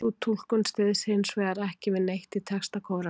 sú túlkun styðst hins vegar ekki við neitt í texta kóransins